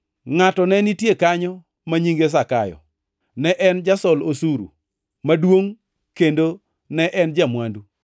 Ngʼato ne nitie kanyo ma nyinge Zakayo; ne en jasol osuru maduongʼ kendo ne en ja-mwandu.